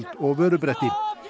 og vörubretti